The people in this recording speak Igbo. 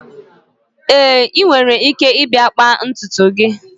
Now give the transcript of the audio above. Èé, ị nwere ike ịbịa kpaa ntutu gị